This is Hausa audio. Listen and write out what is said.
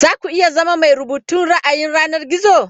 Za ku iya zama mai rubutun ra'ayin yanar gizo?